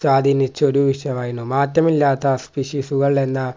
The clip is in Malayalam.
സ്വാധിനിച്ചു ഒരു വിശമായിരുന്നു മാറ്റമില്ലാത്ത വിശുശുകൾ എന്ന